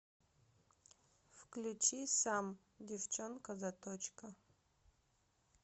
включи сам девчонка заточка